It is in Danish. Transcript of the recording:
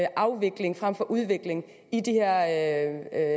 afvikling fremfor udvikling i de her